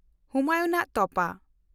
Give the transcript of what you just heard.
ᱦᱩᱢᱟᱭᱩᱱᱟᱜ ᱛᱚᱯᱟ